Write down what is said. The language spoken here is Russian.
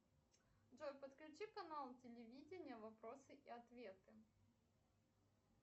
джой подключи канал телевидения вопросы и ответы